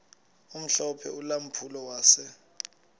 omhlophe ulampulo wase